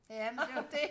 Ja men det jo dét